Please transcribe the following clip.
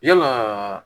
Yalaa